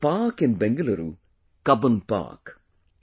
There is a park in Bengaluru – Cubbon Park